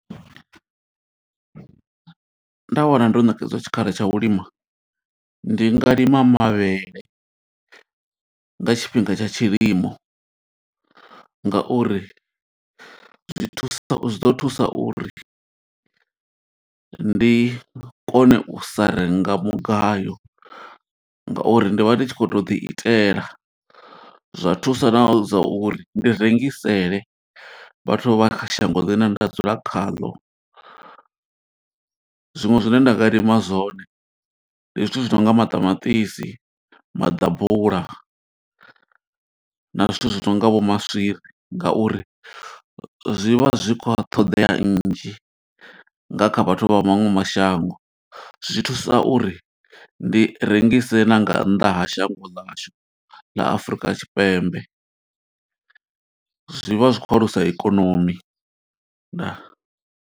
Nda wana ndo ṋekedzwa tshikhala tsha u lima, ndi nga lima mavhele nga tshifhinga tsha tshilimo. Nga uri zwi thusa, zwi ḓo thusa uri ndi kone u sa renga mugayo, nga uri ndi vha ndi tshi khou to ḓi itela. Zwa thusa na zwa uri ndi rengisele vhathu vha shango ḽine nda dzula khaḽo. Zwiṅwe zwine nda nga lima zwone, ndi zwithu zwi nonga maṱamaṱisi, maḓabula, na zwithu zwi nonga vho maswiri. Nga uri zwi vha zwi kha ṱhoḓea nnzhi nga kha vhathu vha maṅwe mashango, zwi thusa uri ndi rengise na nga nnḓa ha shango ḽashu ḽa Afurika Tshipembe. Zwi vha zwi khou alusa ikonomi, Ndaa.